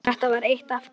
Þetta var eitt af því.